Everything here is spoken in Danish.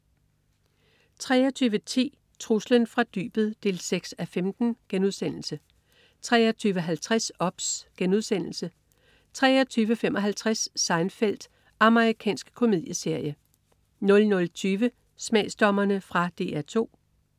23.10 Truslen fra dybet 6:15* 23.50 OBS* 23.55 Seinfeld. Amerikansk komedieserie 00.20 Smagsdommerne. Fra DR 2